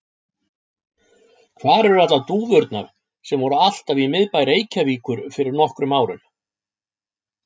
Hvar eru allar dúfurnar sem voru alltaf í miðbæ Reykjavíkur fyrir nokkrum árum?